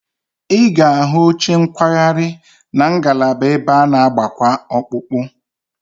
Ị ga-ahụ oche nkwagharị na ngalaba ebe a na- agbakwa ọkpụkpụ